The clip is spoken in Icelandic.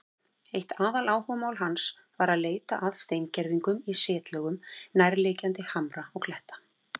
Eitt aðaláhugamál hans var að leita að steingervingum í setlögum nærliggjandi hamra og kletta.